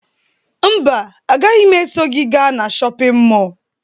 Mba, agaghị m eso gị gaa na shọpịn mọọ